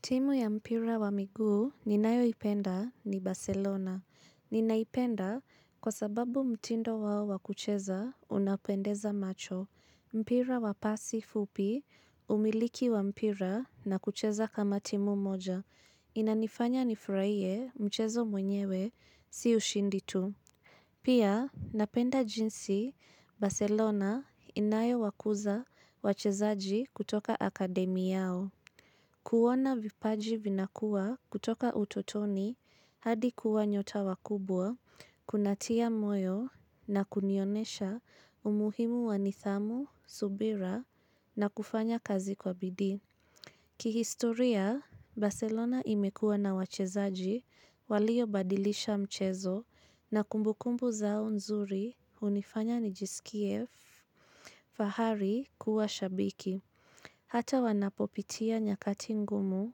Timu ya mpira wa miguu ninayo ipenda ni Barcelona. Ninaipenda kwa sababu mtindo wao wakucheza unapendeza macho. Mpira wapasi fupi umiliki wa mpira na kucheza kama timu moja. Inanifanya nifraie mchezo mwenyewe si ushindi tu. Pia napenda jinsi Barcelona inayo wakuza wachezaji kutoka akademi yao. Kuona vipaji vinakuwa kutoka utotoni hadi kuwa nyota wakubwa, kunatia moyo na kunionesha umuhimu wanithamu, subira na kufanya kazi kwa bidii. Kihistoria, Barcelona imekuwa na wachezaji walio badilisha mchezo na kumbukumbu zao nzuri unifanya nijisikie fahari kuwa shabiki. Hata wanapopitia nyakati ngumu,